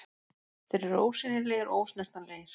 Þeir eru ósýnilegir og ósnertanlegir.